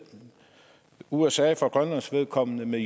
usa for grønlands vedkommende og med